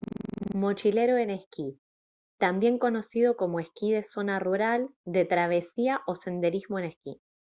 mochilero en esquí también conocido como esquí de zona rural de travesía o senderismo en esquí